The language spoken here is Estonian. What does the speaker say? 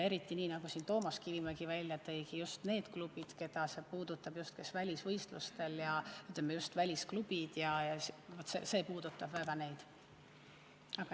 Eriti, nii nagu Toomas Kivimägi välja tõi, just need klubid, keda see puudutab, kes käivad välisvõistlustel, ja just välisklubid, see puudutab neid väga.